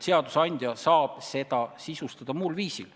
Seadusandja saab seda sisustada muul viisil.